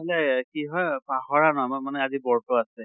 হʼলে কি হয় পাহৰা ন ম মানে আজি বৰ্ত আছে।